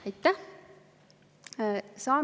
Aitäh!